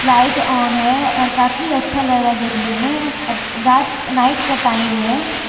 Light on है और काफी अच्छा लग रहा देखने में रात नाइट का टाइम है।